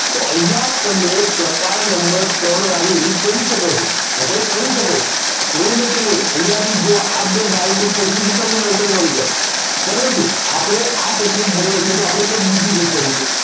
તો અહીંયા તમે પ્રકાર નંબર ત્રણ વાળી રીત કરી શકો છો okay કરી શકો. એવું નહીં કે નહીં અહીંયાથી જો બે ડાયસ પરથી જ તમને answer મળી જાય પરંતુ આપણે આ technic ભણીએ છીએ તો આપણે કંઈક બીજી રીત કરીશું